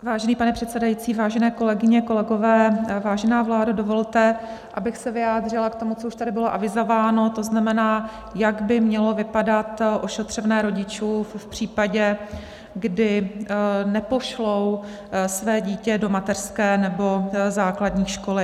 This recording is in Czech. Vážený pane předsedající, vážené kolegyně, kolegové, vážená vládo, dovolte, abych se vyjádřila k tomu, co už tady bylo avizováno, to znamená, jak by mělo vypadat ošetřovné rodičů v případě, kdy nepošlou své dítě do mateřské nebo základní školy.